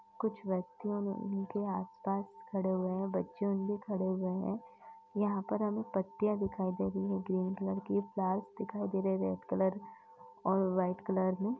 कुछ व्यक्तियों ने उनके आस पास खड़े हुए हैं बच्चे भी खड़े हुए हैं। यहाँ पर हमें पत्तियाँ दिखाई दे रहे हैं ग्रीन कलर की फ्लावर्स दिखाए दे रहे हैं रेड कलर और वाइट कलर में।